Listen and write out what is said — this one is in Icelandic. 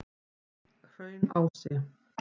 Hraunási